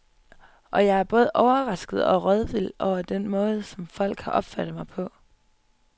Og jeg er både overrasket og rådvild over den måde, som folk har opfattet mig på.